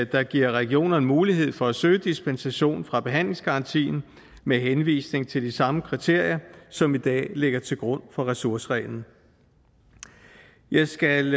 der giver regionerne mulighed for at søge dispensation fra behandlingsgarantien med henvisning til de samme kriterier som i dag ligger til grund for ressourcereglen jeg skal